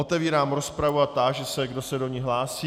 Otevírám rozpravu a táži se, kdo se do ní hlásí.